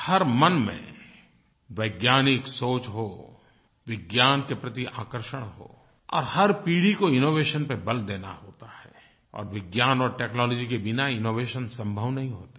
हर मन में वैज्ञानिक सोच हो विज्ञान के प्रति आकर्षण हो और हर पीढ़ी को इनोवेशन पर बल देना होता है और विज्ञान और टेक्नोलॉजी के बिना इनोवेशन संभव नहीं होते हैं